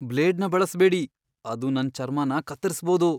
ಬ್ಲೇಡ್ನ ಬಳಸ್ಬೇಡಿ. ಅದು ನನ್ ಚರ್ಮನ ಕತ್ತರಿಸ್ಬೋದು.